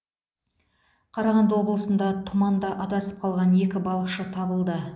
қарағанды облысында тұманда адасып қалған екі балықшы табылды